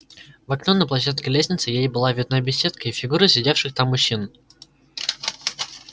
в окно на площадке лестницы ей была видна беседка и фигуры сидевших там мужчин